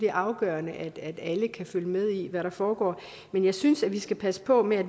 er afgørende at alle kan følge med i hvad der foregår men jeg synes at vi skal passe på med at